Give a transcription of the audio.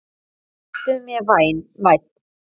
Vertu mér vænn